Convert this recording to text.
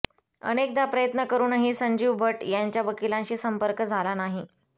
अनेकदा प्रयत्न करुनही संजीव भट्ट यांच्या वकिलांशी संपर्क झाला नाही